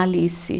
Alice.